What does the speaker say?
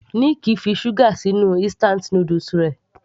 Nick fi sugar sí inú instant noodles rẹ̀.